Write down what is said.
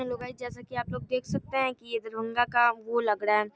hello guys जैसा की आप लोग देख सकते हैं की ये दरभंगा का वो लग रहा है --